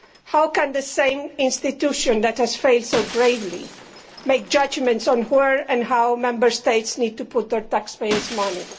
How can the same institution which has failed so gravely make judgments on where and how Member States need to put their taxpayers' money?